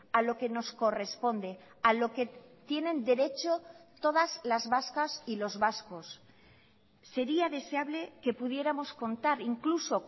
a lo que nos corresponde a lo que tienen derecho todas las vascas y los vascos sería deseable que pudiéramos contar incluso